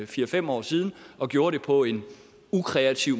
fire fem år siden og gjorde det på en ukreativ